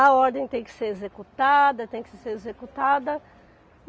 A ordem tem que ser executada, tem que ser executada.